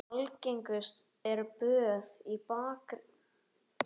Algengust eru böð í baðkeri eða þá steypiböð.